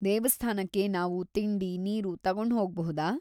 ದೇವಸ್ಥಾನಕ್ಕೆ ನಾವು ತಿಂಡಿ, ನೀರು ತಗೊಂಡ್‌ ಹೋಗ್ಬಹುದಾ?